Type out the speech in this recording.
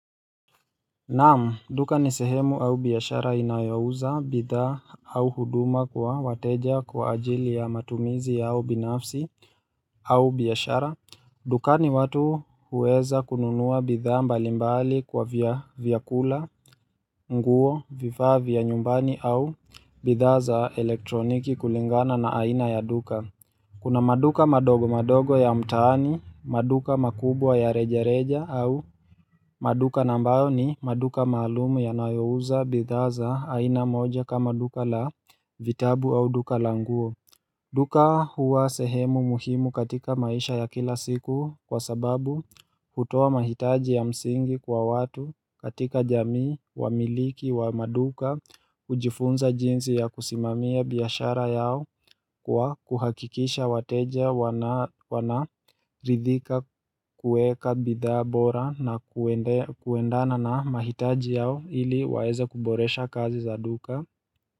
Naam duka ni sehemu au biashara inayouza bidhaa au huduma kwa wateja kwa ajili ya matumizi au binafsi au biashara dukani watu huweza kununua bidhaa mbalimbali kwa vya vyakula, nguo, vifaa vya nyumbani au bidhaa za elektroniki kulingana na aina ya duka Kuna maduka madogo madogo ya mtaani, maduka makubwa ya reja reja au maduka na ambayo ni maduka maalumu yanayouza bidhaa za aina moja kama duka la vitabu au duka languo. Duka huwa sehemu muhimu katika maisha ya kila siku kwa sababu hutoa mahitaji ya msingi kwa watu katika jamii wa miliki wa maduka kujifunza jinsi ya kusimamia biashara yao kwa kuhakikisha wateja wana ridhika kuweka bidhaa bora na kuendana na mahitaji yao ili waeze kuboresha kazi za duka.